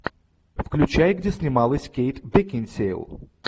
включай где снималась кейт бекинсейл